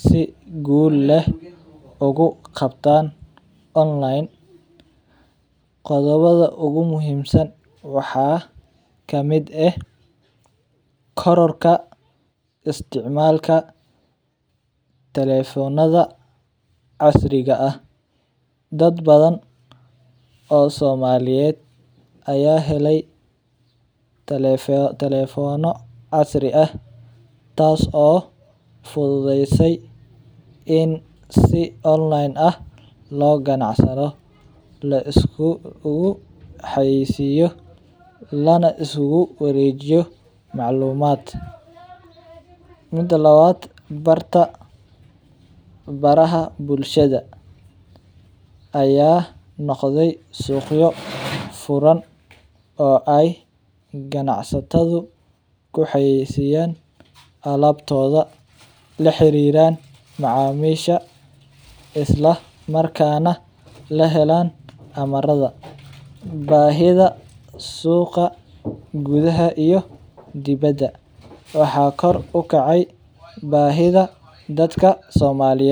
si guul eh ugu qabtaan online, qodobada ugu muhiimsan waxaa kamid ah, korarka isticmaalka tekefonada casriga ah, dad badan oo somaliyeed ayaa helay telefono casri ah taas oo fududeye in si online ah loo ganacsado lais kugu xayeeysiyo lana liskugu wareejiyo macluumad, mida labaad barta baraha bulshada ayaa noqde suuqyo furan oo aay ganacsatadu ku xayeeysiyaan alabtooda, la xariiran macamisha isla markaana la helaan amarada, bahida suuqa gudaha iyo dibada, waxaa kor ukacay bahida dadka somaliyeed.